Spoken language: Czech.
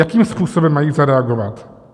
Jakým způsobem mají zareagovat?